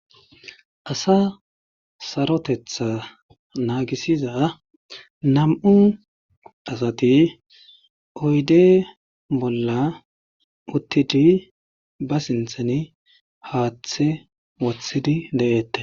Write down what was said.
asa sarotetha naagisiza nam7u asati oyde bolla uttidi ba sinthen haaththe wothidi de7eette